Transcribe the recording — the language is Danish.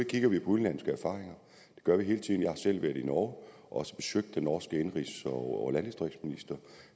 kigger på udenlandske erfaringer det gør vi hele tiden jeg har selv været i norge og også besøgt den norske indenrigs og landdistriktsminister